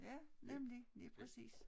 Ja nemlig lige præcis